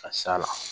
Ka s'a la